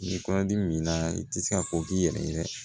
Ni kɔnɔdimi min na i tɛ se ka ko k'i yɛrɛ ye